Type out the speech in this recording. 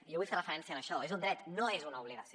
jo vull fer referència a això és un dret no és una obligació